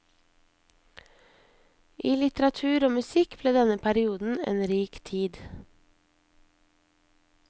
I litteratur og musikk ble denne perioden en rik tid.